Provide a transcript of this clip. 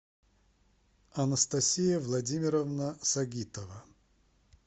анастасия владимировна сагитова